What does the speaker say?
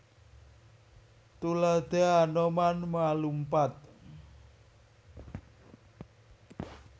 Tuladha Anoman ma lumpat